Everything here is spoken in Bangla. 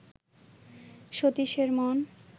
সতীশের মন